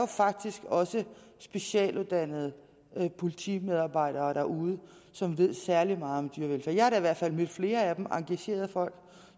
faktisk også er specialuddannede politimedarbejdere derude som ved særlig meget om dyrevelfærd jeg har da i hvert fald mødt flere af dem engagerede folk